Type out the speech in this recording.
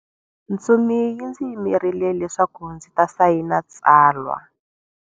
Ntsumi yi ndzi yimerile leswaku ndzi ta sayina tsalwa.